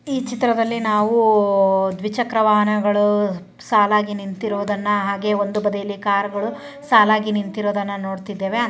ಈ ಚಿತ್ರದಲ್ಲಿ ನಾವು ದ್ವಿಚಕ್ರ ವಾಹನಗಳು ಸಾಲಾಗಿ ನಿಂತಿರುವುದನ್ನ ಹಾಗೆ ಒಂದು ಬದಿಯಲ್ಲಿ ಕಾರುಗಳು ಸಾಲಾಗಿ ನಿಂತಿರುವುದನ್ನ ನೋಡುತ್ತಿದ್ದೇವೆ.